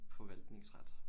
Forvaltningsret